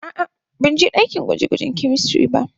A'a, ban je dakin gwaje-gwajen "chemistry" ba.